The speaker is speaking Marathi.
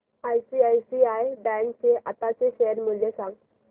आयसीआयसीआय बँक चे आताचे शेअर मूल्य सांगा